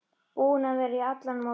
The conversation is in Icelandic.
Búin að vera að í allan morgun.